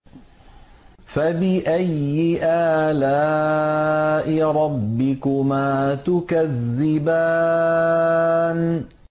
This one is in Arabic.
فَبِأَيِّ آلَاءِ رَبِّكُمَا تُكَذِّبَانِ